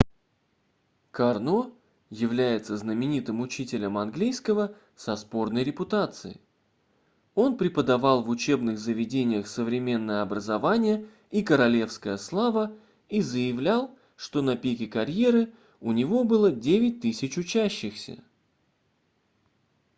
карно является знаменитым учителем английского со спорной репутацией он преподавал в учебных заведениях современное образование и королевская слава и заявлял что на пике карьеры у него было 9000 учащихся